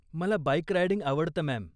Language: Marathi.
मला बाईक रायडिंग आवडतं, मॅम.